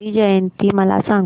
गांधी जयंती मला सांग